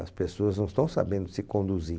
As pessoas não estão sabendo se conduzir.